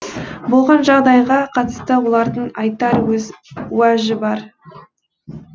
болған жағдайға қатысты олардың айтар өз уәжі бар